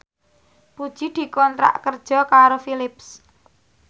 Puji dikontrak kerja karo Philips